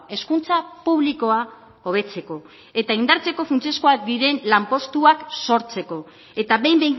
hezkuntza publikoa hobetzeko eta indartzeko funtsezkoak diren lanpostuak sortzeko eta behin